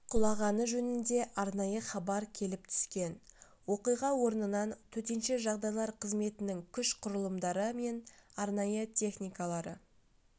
құлағаны жөнінде арнайы хабар келіп түскен оқиға орнынан төтенше жағдайлар қызметінің күш-құрылымдары мен арнайы техникалары